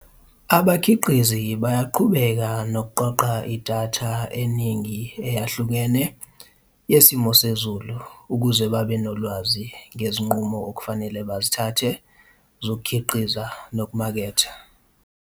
Abakhiqizi bayaqhubeka nokuqoqa idatha eningi eyahlukene yesimo sezulu ukuze babe nolwazi ngezinqumo okufanele bazithathe zokukhiqiza nokumaketha.